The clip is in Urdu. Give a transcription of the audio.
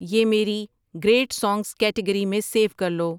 یہ میری گریٹ سانگز کیٹگری میں سیو کر لو